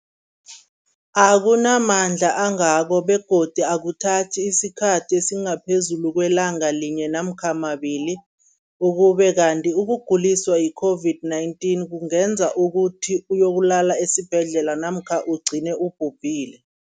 akuna mandla angako begodu akuthathi isikhathi esingaphezulu kwelanga linye namkha mabili, ukube kanti ukuguliswa yi-COVID-19 kungenza ukuthi uyokulala esibhedlela namkha ugcine ubhubhile.